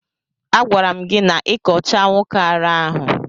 A gwara m gi na ị kọcha nwoke ara ahụ.